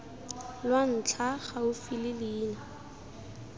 lwa ntlha gaufi le leina